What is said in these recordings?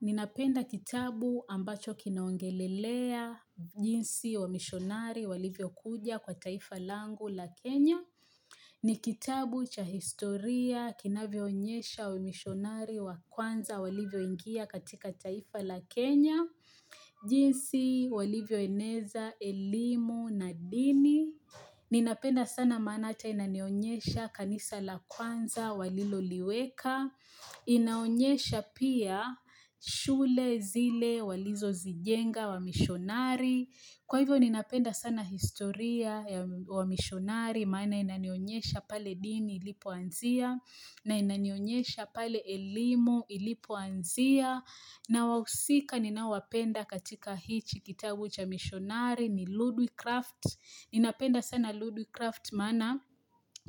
Ninapenda kitabu ambacho kinaongelelea jinsi wamishonari walivyokuja kwa taifa langu la Kenya ni kitabu cha historia kinavyoonyesha wamishonari wa kwanza walivyoingia katika taifa la Kenya jinsi walivyoeneza, elimu, na dini Ninapenda sana maana hata inanionyesha kanisa la kwanza waliloliweka inaonyesha pia shule zile walizozijenga wamishonari Kwa hivyo ninapenda sana historia wamishonari Maana inanionyesha pale dini ilipoanzia na inanionyesha pale elimu ilipoanzia na wahusika ninaowapenda katika hichi kitabu cha mishonari ni Ludwig kraft Ninapenda sana Ludwig kraft maana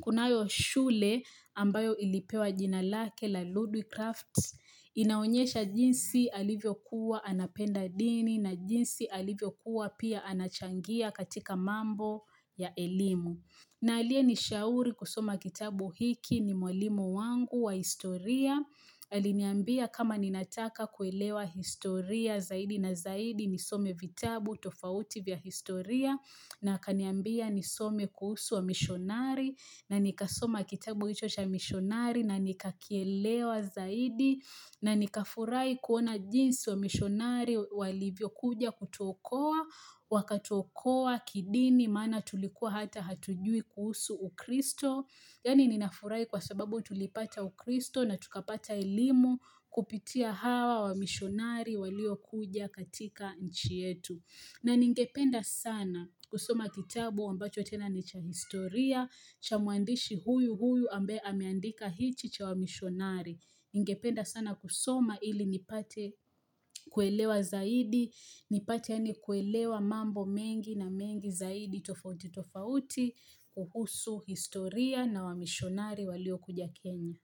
kunayo shule ambayo ilipewa jina lake la Ludwig kraft inaonyesha jinsi alivyokuwa anapenda dini na jinsi alivyokuwa pia anachangia katika mambo ya elimu. Na aliyenishauri kusoma kitabu hiki ni mwalimu wangu wa historia. Aliniambia kama ninataka kuelewa historia zaidi na zaidi nisome vitabu tofauti vya historia na akaniambia nisome kuhusu wamishonari na nikasoma kitabu hicho cha mishonari na nikakielewa zaidi na nikafurahi kuona jinsi wamishonari walivyokuja kutuokoa. Wakatuokoa kidini maana tulikuwa hata hatujui kuhusu ukristo yaani ninafurahi kwa sababu tulipata ukristo na tukapata elimu kupitia hawa wamishonari waliokuja katika nchi yetu na ningependa sana kusoma kitabu ambacho tena ni cha historia cha mwandishi huyu huyu ambaye ameandika hichi cha wamishonari ningependa sana kusoma ili nipate kuelewa zaidi nipate yaani kuelewa mambo mengi na mengi zaidi tofauti tofauti kuhusu historia na wamishonari waliokuja Kenya.